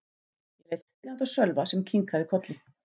Ég leit spyrjandi á Sölva sem kinkaði kolli.